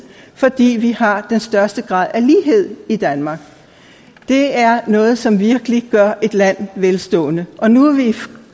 fordi vi har den største grad af lighed i danmark det er noget som virkelig gør et land velstående og nu er vi i